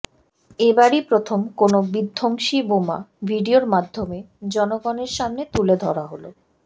এবারই প্রথম কোন বিধ্বংসী বোমা ভিডিওর মাধ্যমে জনগণের সামনে তুলে ধরা হলো